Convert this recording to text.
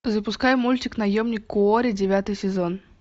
запускай мультик наемник куорри девятый сезон